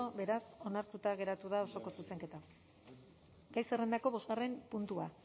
beraz onartuta geratu da osoko zuzenketa gai zerrendako bosgarren puntua